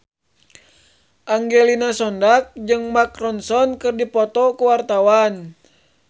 Angelina Sondakh jeung Mark Ronson keur dipoto ku wartawan